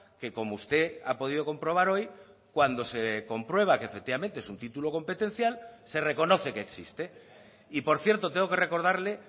que como usted ha podido comprobar hoy cuando se comprueba que efectivamente es un título competencial se reconoce que existe y por cierto tengo que recordarle